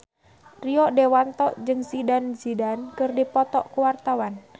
Rio Dewanto jeung Zidane Zidane keur dipoto ku wartawan